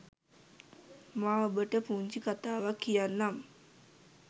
මා ඔබට පුංචි කථාවක් කියන්නම්